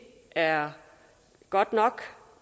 er godt nok